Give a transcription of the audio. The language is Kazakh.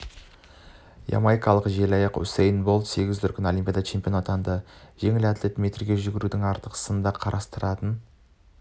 ямайкалық желаяқ усэйн болт сегіз дүркін олимпиада чемпионы атанды жеңіл атлет метрге жүгірудің ақтық сынында қарсыластарын